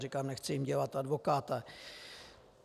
Říkám, nechci jim dělat advokáta.